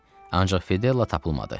Ancaq Fedella tapılmadı.